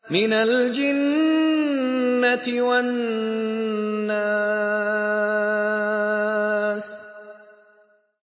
مِنَ الْجِنَّةِ وَالنَّاسِ